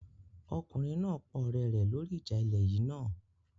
Ọkùnrin náà pa ọ̀rẹ́ rẹ lórí ìjà ilẹ̀ yìí náà